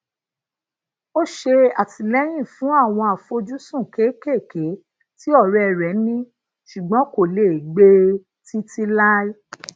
ó ṣè àtìlẹyìn fún awon àfojúsùn kékeeke tí ọrẹ rẹ ni ṣùgbọn kò lè gbe e titi lai